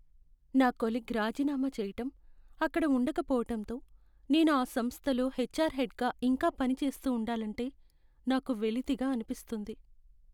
నా కొలీగ్ రాజీనామా చెయ్యటం, అక్కడ ఉండకపోవటంతో, నేను ఆ సంస్థలో హెచ్ఆర్ హెడ్గా ఇంకా పనిచేస్తూ ఉండాలంటే, నాకు వెలితిగా అనిపిస్తుంది.